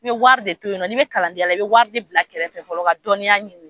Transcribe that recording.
I bɛ wari de to yen nɔ, ni bɛ kalanden yan la i bɛ wari de bila kɛrɛ fɔlɔ ka dɔnniya ɲini.